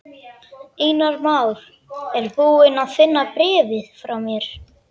Einar Már er búinn að finna bréfið frá mér.